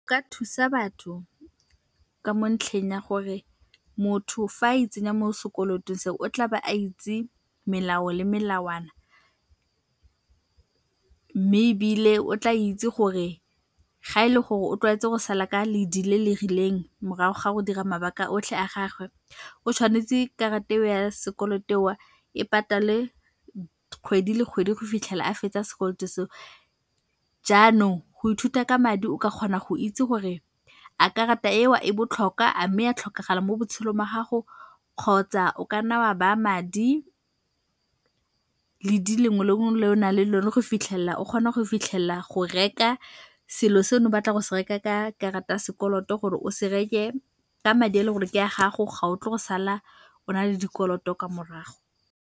Ka thusa batho ka mo ntlheng ya gore motho fa a itsenya mo sekolotong seo, o tlabe a itse melao le melawana, mme ebile o tla itse gore ga e le gore o tlwaetse go sala ka ledi le le rileng morago ga go dira mabaka otlhe a gagwe, o tshwanetse karata eo ya sekoloto eo, e patale kgwedi le kgwedi go fitlhela a fetsa sekolo seo. Jaanong go ithuta ka madi o ka kgona go itse gore a karata eo e botlhokwa, a mme ya tlhokagala mo botshelong ba gago kgotsa o ka nna wa ba'a madi, ledi lengwe le lengwe le o naleng lone go fitlhella o kgona go fitlhella go reka selo batla go se reka ka karata ya sekoloto gore o se reke ka madi a ele gore ke a gago, ga o tlo go sala o na le dikoloto kwa morago.